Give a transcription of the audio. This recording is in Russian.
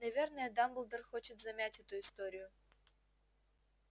наверное дамблдор хочет замять эту историю